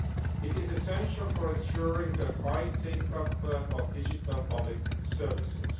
It is essential for ensuring a high take up of digital public services.